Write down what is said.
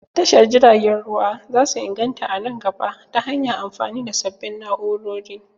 Tashar jiragen ruwa zasu inganta a nan gaba ta hanyan amfani da sabbin na'urori